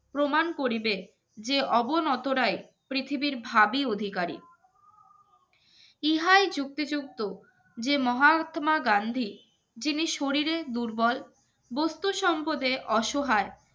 প্রমাণ করিবেন যে অবনতরাই পৃথিবীর ভাবী অধিকারী ইহাই যুক্তিযুক্ত যে মহাত্মা গান্ধী যিনি শরীরে দুর্বল বস্তু সম্পদে অস